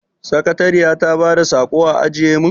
Sakatariya ta bada saƙo a ajiye mun?